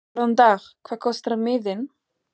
Góðan dag. Hvað kostar miðinn?